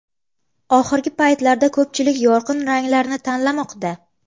Oxirgi paytlarda ko‘pchilik yorqin ranglarni tanlamoqda.